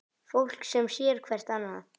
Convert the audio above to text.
Fólk sem sér hvert annað.